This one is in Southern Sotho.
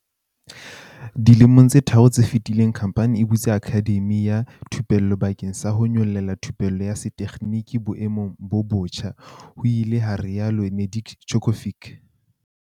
"Dilemong tse tharo tse fetileng, khamphani e butse akhademi ya thupello bakeng sa ho nyolella thupello ya setekginiki boemong bo botjha," ho ile ha rialo Nedeljkovic.